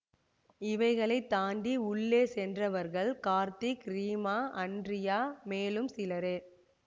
இவைகளை தாண்டி உள்ளே சென்றவர்கள் கார்த்திக் ரீமா அன்ட்ரியா மேலும் சிலரே